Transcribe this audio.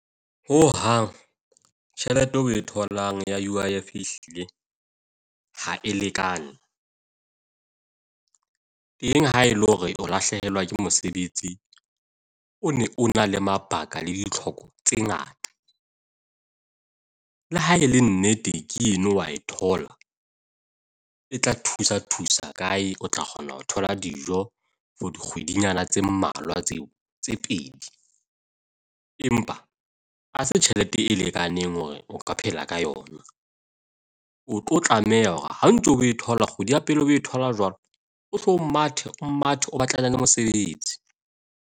Hohang, tjhelete eo o e tholang ya UIF ehlile ha e lekane. Teng haele hore o lahlehelwa ke mosebetsi, o ne o na le mabaka le ditlhoko tse ngata. Le ha e le nnete, ke eno wa e thola e tla thusa thusa kae, o tla kgona ho thola dijo for dikgwedinyana tse mmalwa tse tse pedi. Empa ha se tjhelete e lekaneng hore o ka phela ka yona. O tlo tlameha hore ha o ntso o e thola, kgwedi ya pele o e thola jwalo, o hlo o mathe, o mathe, o batlane le mosebetsi.